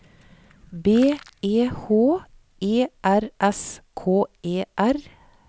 B E H E R S K E R